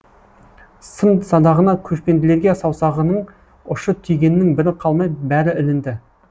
сын садағына көшпенділерге саусағының ұшы тигеннің бірі қалмай бәрі ілінді